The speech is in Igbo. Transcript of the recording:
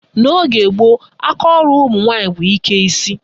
N' ogee gboo, akaọrụ ụmụnwaanyị bụ ike isi.